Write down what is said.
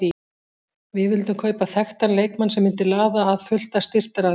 Við vildum kaupa þekktan leikmann sem myndi laða að fullt af styrktaraðilum.